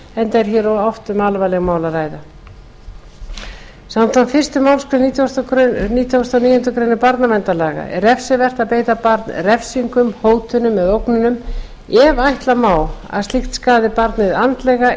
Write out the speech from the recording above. enda er hér oft um alvarleg mál að ræða samkvæmt fyrstu málsgrein nítugasta og níundu grein barnaverndarlaga er refsivert að beita barn refsingum hótunum eða ógnunum ef ætla má að slíkt skaði barnið andlega